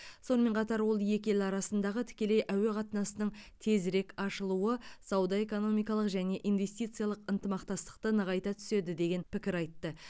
сонымен қатар ол екі ел арасындағы тікелей әуе қатынасының тезірек ашылуы сауда экономикалық және инвестициялық ынтымақтастықты нығайта түседі деген пікір айтты